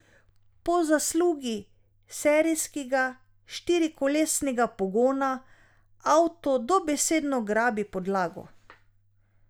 Po zaslugi serijskega štirikolesnega pogona avto dobesedno grabi podlago.